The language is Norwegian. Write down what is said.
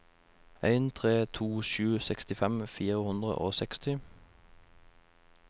en tre to sju sekstifem fire hundre og seksti